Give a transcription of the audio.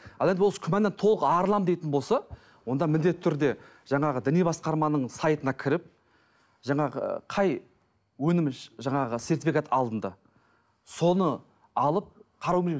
ал енді осы күмәннан толық арыламын дейтін болса онда міндетті түрде жаңағы діни басқарманың сайтына кіріп жаңағы қай өнім жаңағы сертификат алынды соны алып қарау